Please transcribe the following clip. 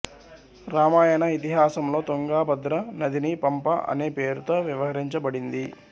రామాయణ ఇతిహాసంలో తుంగాభద్ర నదిని పంప అనే పేరుతో వ్యవహరించబడింది